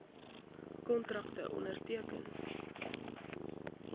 kontrakte onderteken